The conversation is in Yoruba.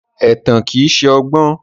Ẹ̀tàn kìí ṣọgbọ́n.